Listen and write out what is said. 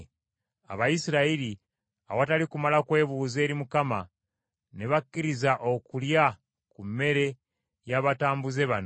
Abayisirayiri, awatali kumala kubuuza eri Mukama , ne bakkiriza okulya ku mmere y’abatambuze bano.